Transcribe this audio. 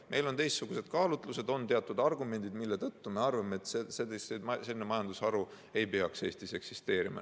Meil on teistsugused kaalutlused, on teatud argumendid, mille tõttu me arvame, et selline majandusharu ei peaks Eestis eksisteerima.